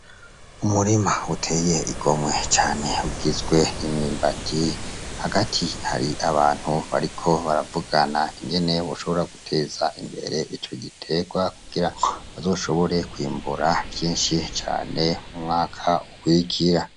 Umurima uteye igomwe cane ugizwe nimyimbati hagati hari abantu bariko baravugana ingeney b shobora guteza imbere ico giterwa kugira bazoshobore kwimbura vyinshi cane umwaka ukwigira.